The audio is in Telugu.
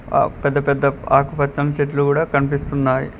ఆ పెద్ద పెద్ద ఆకుపచ్చని చెట్లు కూడా కనిపిస్తున్నాయి.